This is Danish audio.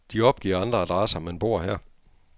De opgiver andre adresser, men bor her.